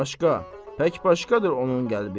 Başqa, tək başqadır onun qəlbi.